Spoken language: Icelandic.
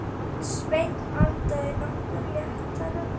Svenni andað nokkru léttar.